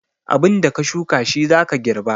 Abinda ka shuka shi zaka girba.